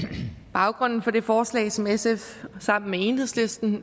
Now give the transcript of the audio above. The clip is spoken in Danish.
baggrunden for det forslag som sf sammen med enhedslisten